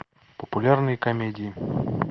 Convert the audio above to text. популярные комедии